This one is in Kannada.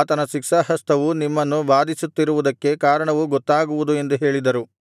ಆತನ ಶಿಕ್ಷಾಹಸ್ತವು ನಿಮ್ಮನ್ನು ಬಾಧಿಸುತ್ತಿರುವುದಕ್ಕೆ ಕಾರಣವು ಗೊತ್ತಾಗುವುದು ಎಂದು ಹೇಳಿದರು